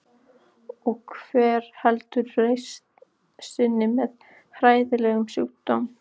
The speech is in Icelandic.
Og hver heldur reisn sinni með hræðilegan sjúkdóm?